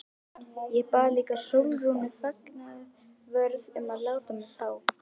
Ég bað líka Sólrúnu fangavörð um að láta mig fá